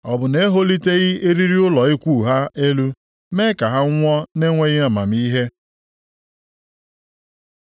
Ọ bụ na-eholiteghị eriri ụlọ ikwu ha elu, mee ka ha nwụọ na-enweghị amamihe?’